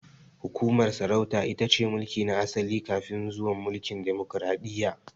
Hukumar sarauta itace mulki na asali kafin zuwan mulkin demokaradiyya